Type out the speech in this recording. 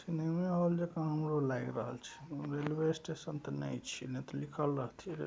सिनेमें hall जेका हमरो लाऐग रहल छै। रेलवे स्टेशन ते नय छीये ने ते लिखल रहथिये